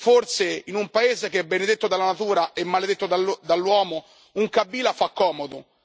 Forse, in un paese che è benedetto dalla natura e maledetto dall'uomo, un Kabila fa comodo.